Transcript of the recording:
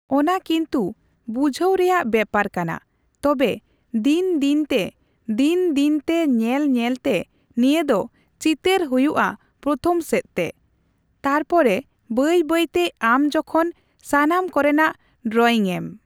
ᱚᱱᱟ ᱠᱤᱱᱛᱩ ᱵᱩᱡᱷᱟᱹᱣ ᱨᱮᱭᱟᱜ ᱵᱮᱯᱟᱨ ᱠᱟᱱᱟ᱾ ᱛᱚᱵᱮ ᱫᱤᱱᱼᱫᱤᱱ ᱛᱮ, ᱫᱤᱱᱼᱫᱤᱱ ᱛᱮ ᱧᱮᱞᱼᱧᱮᱞ ᱛᱮ ᱱᱤᱭᱟᱹ ᱫᱚ ᱪᱤᱛᱟᱹᱨ ᱦᱩᱭᱩᱜᱼᱟ ᱯᱨᱚᱛᱷᱚᱢ ᱥᱮᱫᱚ ᱛᱮ ᱾ ᱛᱟᱨᱯᱚᱨᱮ ᱵᱟᱹᱭᱼᱵᱟᱹᱭ ᱛᱮ ᱟᱢ ᱡᱚᱠᱷᱚᱱ ᱥᱟᱱᱟᱢ ᱠᱚᱨᱮᱱᱟᱜ ᱰᱨᱚᱭᱤᱝᱮᱢ